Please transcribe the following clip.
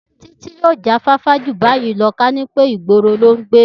Títí yóò jáfáfá ju báyìí lọ ká ní pé ìgboro lo ń gbé